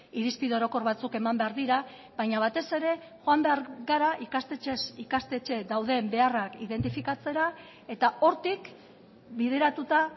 irizpide orokor batzuk eman behar dira baina batez ere joan behar gara ikastetxez ikastetxe dauden beharrak identifikatzera eta hortik bideratuta